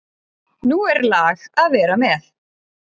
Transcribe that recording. Nú er lag að vera með!